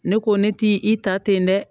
Ne ko ne t'i i ta ten dɛ